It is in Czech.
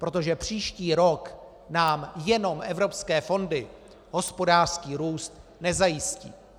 Protože příští rok nám jenom evropské fondy hospodářský růst nezajistí.